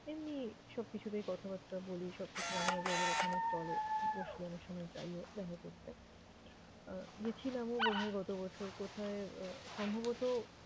এমনিই সবকিছুতেই কথাবার্তা বলি, সবকিছু মাঝেমাঝে ওদের ওখানে চলে, বসলে অনেক সময় যাইও দেখা করতে। আহ গেছিলামও বোধহয় গতবছর। কোথায়? আহ সম্ভবত